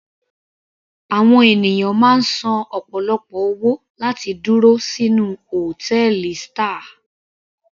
Àwọn ènìyàn máa ń san ọ̀pọ̀lọpọ̀ owó láti dúró sínú hòtẹ́ẹ̀lì star.